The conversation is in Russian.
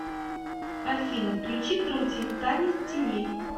афина включи трутень танец теней